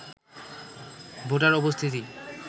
voter উপস্থিতি